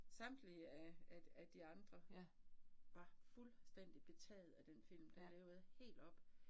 Samtlige af af af de andre, var fuldstændig betagede af den film, den havde været helt oppe